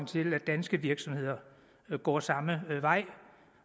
til at danske virksomheder går samme vej